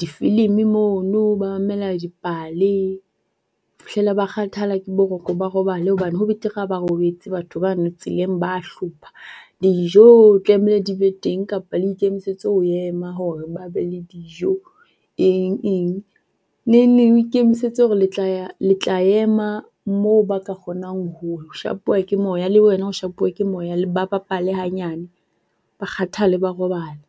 difilimi mono ba mamela dipale ho fihlella ba kgathala ke boroko ba robale hobane ho betere ha robetse batho ba no tseleng ba hlopha. Dijo di tlameile di be teng kapa le ikemisetse ho ema hore ba be le dijo eng eng. Nengneng o ikemisetse hore le tla ema mo ba ka kgonang ho shapuwa ke moya le wena o shapuwe ke moya ba bapale hanyane ba kgathale ba robale.